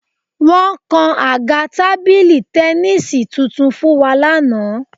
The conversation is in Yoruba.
Wọ́n kan àga tábìlì tẹníìsì tuntun fún wa lánàá